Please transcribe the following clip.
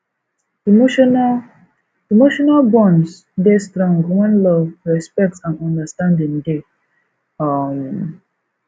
emotional emotional bonds dey strong when love respect and understanding dey um